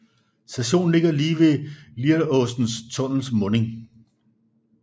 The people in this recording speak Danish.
Stationen ligger lige ved Lieråsen tunnels munding